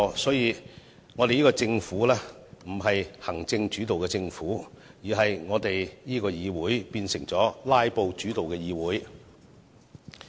因此，我們這個政府不是行政主導的政府，而我們這個議會則變成以"拉布"主導的議會。